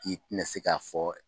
K'i tinɛ se k'a fɔ